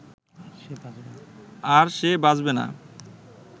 আর সে বাঁচবে না